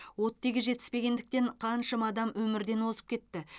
оттегі жетіспегендіктен қаншама адам өмірден озып кетті